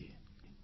ନମସ୍କାର